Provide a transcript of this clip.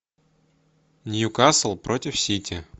ньюкасл против сити